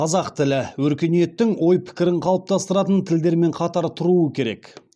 қазақ тілі өркениеттің ой пікірін қалыптастыратын тілдермен қатар тұруы керек